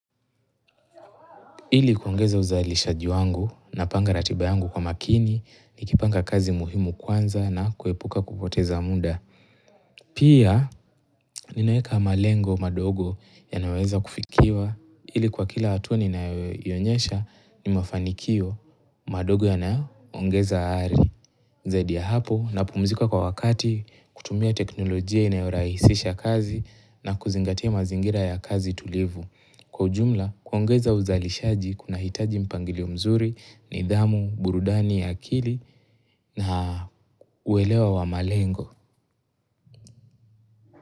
Ili kuongeza uzalishaji wangu na panga ratibayangu kwa makini, nikipanga kazi muhimu kwanza na kuepuka kupoteza muda. Pia, ninaweka malengo madogo ya nayoweza kufikiwa, ili kwa kila hatua ninayoinyesha ni mafanikio madogo ya naongeza aari. Zaidi ya hapo na pumzika kwa wakati kutumia teknolojia inayorahisisha kazi na kuzingatia mazingira ya kazi tulivu. Kwa ujumla, kuongeza uzalishaji kuna hitaji mpangilio mzuri nidhamu, burudani ya akili na uelewa wa malengo.